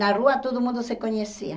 Na rua todo mundo se conhecia.